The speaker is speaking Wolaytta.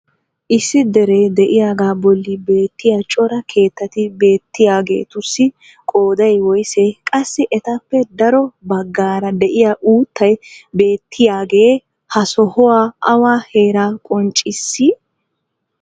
issi deree diyaagaa boli beetiya cora keettati beetiyaageetussi qooday woyssee? qassi etappe daro bagaara diya uuttay beettiyaagee ha sohoy awa heera qonccissii?